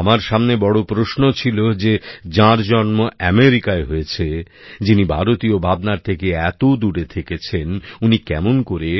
আমার সামনে বড় প্রশ্ন ছিল যে যাঁর জন্ম আমেরিকায় হয়েছে যিনি ভারতীয় ভাবনার থেকে এত দূরে থেকেছেন উনি কেমন করে